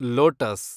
lotus